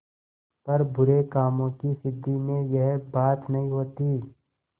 पर बुरे कामों की सिद्धि में यह बात नहीं होती